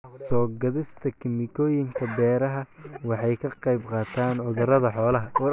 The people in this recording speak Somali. Soo-gaadhista kiimikooyinka beeraha waxay ka qaybqaataan cudurrada xoolaha.